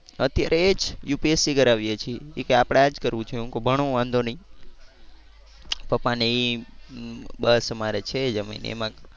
અત્યારે એ જ UPSC કરાવીએ છીએ. એ કે આપણે આ જ કરવું છે. હું કવ ભણો વાંધો નહીં. પપ્પા ને એ બસ અમારે છે જમીન એમાં